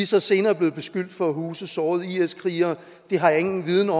så senere blevet beskyldt for at huse sårede is krigere det har jeg ingen viden